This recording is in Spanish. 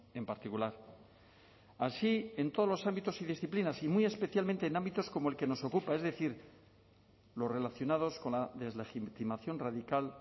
en particular así en todos los ámbitos y disciplinas y muy especialmente en ámbitos como el que nos ocupa es decir los relacionados con la deslegitimación radical